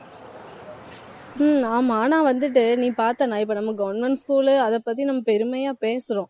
ஹம் ஆமா வந்துட்டு, நீ பார்த்தனா இப்ப நம்ம government school அதைப் பத்தி நம்ம பெருமையா பேசுறோம்